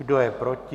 Kdo je proti?